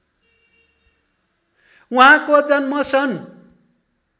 उहाँको जन्म सन्